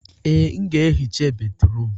Ee, m ga-ehicha bédrụum.